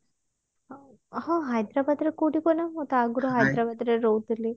ହଁ ହାଇଦ୍ରାବାଦ ରେ କୋଉଠି କୁହନା ମୁଁ ତ ଆଗୁରୁ ହାଇଦ୍ରାବାଦ ରେ ରହୁଥିଲି